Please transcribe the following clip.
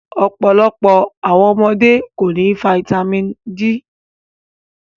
Ọpọlọpọ awọn ọmọde ko ni fáítámínì D